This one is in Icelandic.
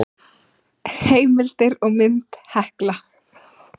Heimildir og mynd Hekla.